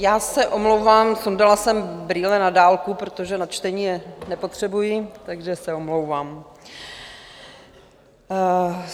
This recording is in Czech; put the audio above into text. Já se omlouvám, sundala jsem brýle na dálku, protože na čtení je nepotřebuji, takže se omlouvám.